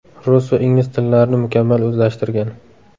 Rus va ingliz tillarini mukammal o‘zlashtirgan.